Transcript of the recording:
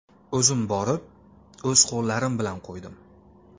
O‘zim borib, o‘z qo‘llarim bilan qo‘ydim.